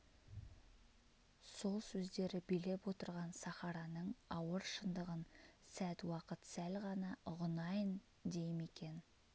сол өздері билеп отырған сахараның ауыр шындығын сәт уақыт сәл ғана ұғынайын дей ме екен